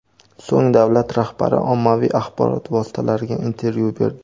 So‘ng davlat rahbari ommaviy axborot vositalariga intervyu berdi.